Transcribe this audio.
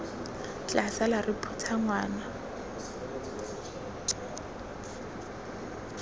tla sala re phutha ngwana